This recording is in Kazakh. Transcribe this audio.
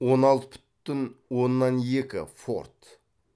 он алты бүтін оннан екі форд